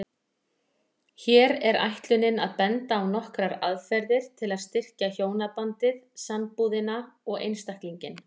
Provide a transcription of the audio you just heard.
Hér er ætlunin að benda á nokkrar aðferðir til að styrkja hjónabandið, sambúðina og einstaklinginn.